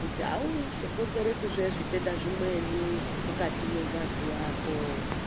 kuti auzokonzeresizve zvitenda zvimweni mukati mengazi yako.